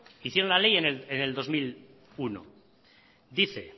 hicieron la ley en el dos mil uno dice